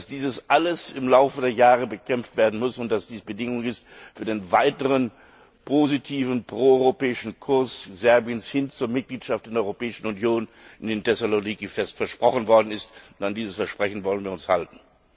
dies alles im Lauf der Jahre bekämpft werden muss und das Bedingung ist für den weiteren positiven proeuropäischen Kurs Serbiens hin zur Mitgliedschaft in der Europäischen Union, wie ihnen in Thessaloniki fest versprochen worden ist, und an dieses Versprechen wollen wir uns halten.